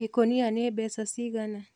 Ikũnia nĩ mbeca cigana.